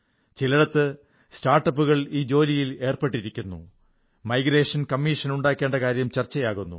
ചിലേടത്ത് സ്റ്റാർട്ടപ്പുകൾ ഈ ജോലിയിൽ ഏർപ്പെട്ടിരിക്കുന്നു മൈഗ്രേഷൻ കമ്മീഷൻ ഉണ്ടാക്കേണ്ട കാര്യം ചർച്ചയാകുന്നു